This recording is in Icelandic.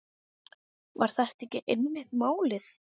Var þetta ekki einmitt málið?